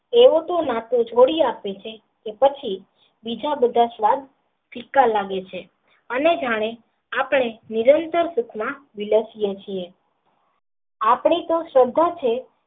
એ લોકો આપણે જોડી આપે છે ને પછી બીજા બધાં અને જાણે આપણે નિરંતર સુખ માં લખીયે છીએ આપણે તો શ્રદ્ધા છે.